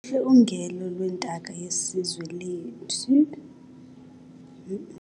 Luhle ungele lwentaka yesizwe lethu.